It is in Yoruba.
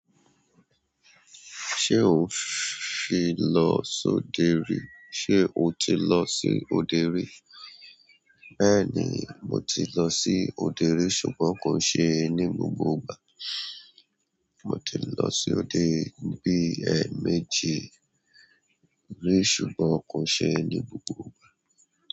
Ṣé o ń fi lọ sóde rí? Ṣé o ti lọ sí òde rí? Bẹ́ẹ̀ni, mo ti lọ sí òde rí ṣùgbọ́n kò ṣe ní gbogbo ìgbà. Mo ti lọ sí òde bí ẹ́mẹ́jì rí ṣùgbọ́n kò ṣe ní gbogbo ìgbà.